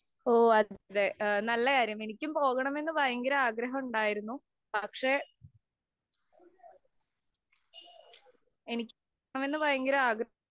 ഓ, അത്, നല്ലകാര്യം. എനിക്കും പോകണമെന്ന് ഭയങ്കര ആഗ്രഹം ഉണ്ടായിരുന്നു. പക്ഷേ, അങ്ക്ലിയർപോകണമെന്ന് ഭയങ്കര ആഗ്രഹം